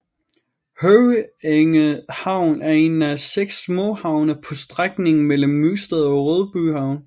Høvænge Havn er en af 6 småhavne på strækningen mellem Nysted og Rødbyhavn